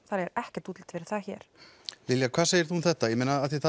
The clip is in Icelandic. það er ekkert útlit fyrir það hér Lilja hvað segir þú um þetta ég meina af því að